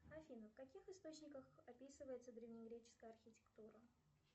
афина в каких источниках описывается древнегреческая архитектура